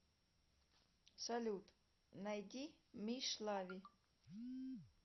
салют найди мишлави